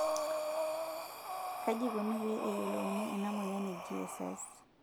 kaji ikoni pee eyiolouni ena moyian e GSS?